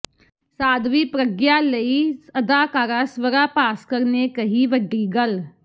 ਸਾਧਵੀ ਪ੍ਰਗਯਾ ਲਈ ਅਦਾਕਾਰਾ ਸ੍ਵਰਾ ਭਾਸਕਰ ਨੇ ਕਹੀ ਵੱਡੀ ਗੱਲ